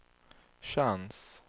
chans